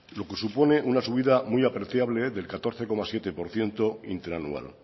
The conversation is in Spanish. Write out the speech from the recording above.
lo que supone una subida muy apreciable del catorce coma siete por ciento interanual